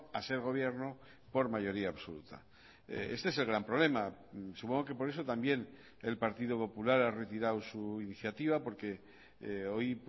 a ser gobierno por mayoría absoluta este es el gran problema supongo que por eso también el partido popular ha retirado su iniciativa porque hoy